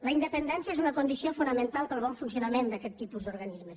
la independència és una condició fonamental per al bon funcionament d’aquest tipus d’organismes